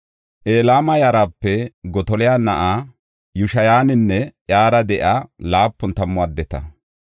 Elama yarape Gotola na7a Yishayanne iyara de7iya laapun tammu addeta.